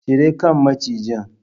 Cire kan macijin!